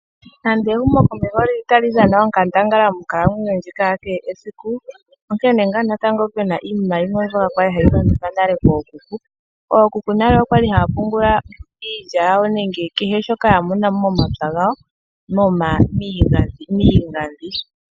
Nande ehumo komeho lili tali dhana onkandangala monkalamwenyo yakehe esiku, onkene ngaa natango puna iinima yimwe kwali hayi longithwa nale kookuku. Ookuku nale okwali haya pungula iilya yawo nenge kehe shoka yamona momapya gawo miigandhi.